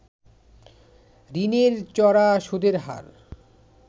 ঋণের চড়া সুদের হার